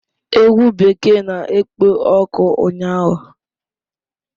Egwu bekee na-ekpo ọkụ ụnyaahụ